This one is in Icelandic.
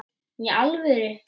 Í alvöru!